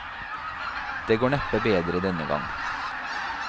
Det går neppe bedre denne gang.